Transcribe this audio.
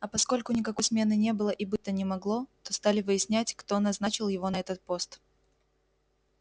а поскольку никакой смены не было и быть то не могло стали выяснять кто назначил его на этот пост